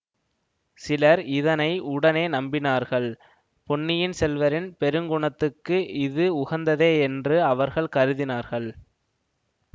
சிலர் இதை உடனே நம்பினார்கள் பொன்னியின் செல்வரின் பெருங்குணத்தைக்கு இது உகந்ததே என்று அவர்கள் கருதினார்கள்